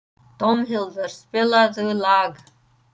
Dómhildur, spilaðu lag.